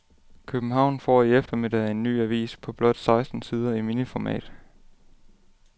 København får i eftermiddag en ny avis på blot seksten sider i miniformat.